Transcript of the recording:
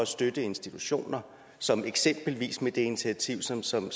støtte institutioner som eksempelvis med det initiativ som som